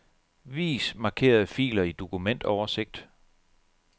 Vis markerede filer i dokumentoversigt.